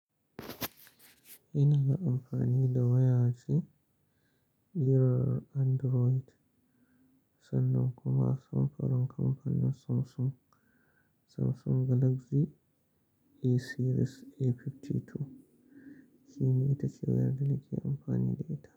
Ina amfani da waya ce kirar Android sannan kuma samfurin kamfanin Samsung, Samsung Galaxy A Series A52 shine ita ce wayar da nake amfani da ita.